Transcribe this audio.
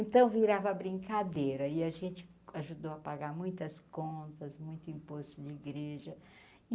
Então virava brincadeira e a gente ajudou a pagar muitas contas, muito imposto de igreja.